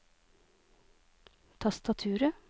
tastaturet